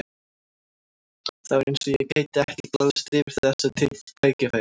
Það var eins og ég gæti ekki glaðst yfir þessu tækifæri.